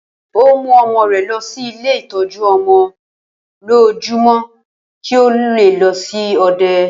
Ó mú ọmọ rẹ̀ lọ sí ilé ìtọ́jú-ọmọ-olójúmọ́, kí ó le lọ sí òde.